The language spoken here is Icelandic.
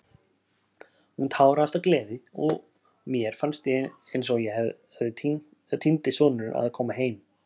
Hún táraðist af gleði og mér fannst ég eins og týndi sonurinn að koma heim.